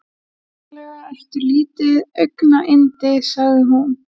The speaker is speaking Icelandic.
Sannarlega ertu lítið augnayndi sagði hún.